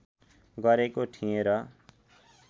गरेको थिएँ र